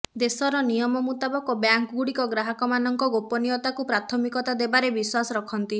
ଦେଶର ନିମୟ ମୁତାବକ ବ୍ୟାଙ୍କ୍ଗୁଡ଼ିକ ଗ୍ରାହକମାନଙ୍କ ଗୋପନୀୟତାକୁ ପ୍ରାଥମିକତା ଦେବାରେ ବିଶ୍ୱାସ ରଖନ୍ତି